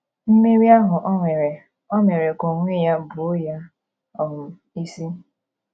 Mmeri ahụ o nwere, ò mere ka onwe ya buo ya um isi?